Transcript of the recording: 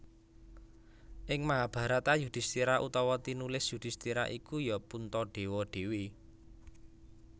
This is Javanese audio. Ing Mahabharata Yudhistira utawa tinulis Yudisthira iku ya Puntadewa dhewe